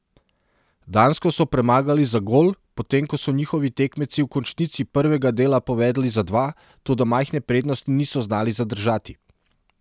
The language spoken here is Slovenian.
Dansko so premagali za gol, potem ko so njihovi tekmeci v končnici prvega dela povedli za dva, toda majhne prednosti niso znali zadržati.